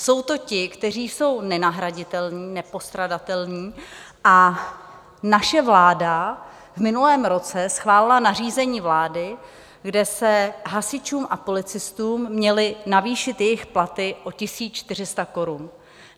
Jsou to ti, kteří jsou nenahraditelní, nepostradatelní a naše vláda v minulém roce schválila nařízení vlády, kde se hasičům a policistům měly navýšit jejich platy o 1 400 korun.